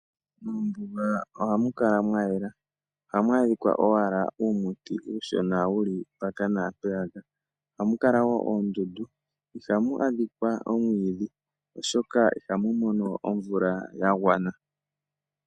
Moombuga ohamu kala mwa yela, ohamu adhika owala uumuti uushona wu li mpaka naampeyaka, ohamu kala wo oondundu, ihamu adhika omwiidhi, oshoka ihamu mono omvula ya gwana.